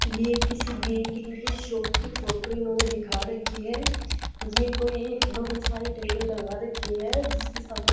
ये किसी बेकरी की शॉप की फोटो इन्होंने दिखा रखी है ये कोई एक बड़ी सारी टेबल लगा रखी है जिसके सामने--